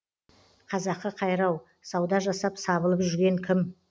қазақы қайрау сауда жасап сабылып жүрген кім